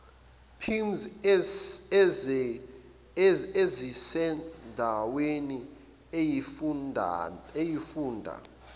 pims ezisendaweni eyisifunda